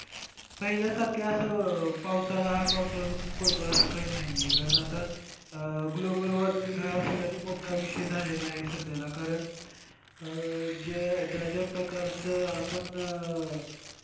पहिल्यासारखं असं पावसाळा हा पावसाळा ऋतू पडतो असं काय नाहीये आता global warming हा सगळ्यात मोठा विषय झालेला आहे सध्या कारण ज्या ज्या प्रकारचं आपण,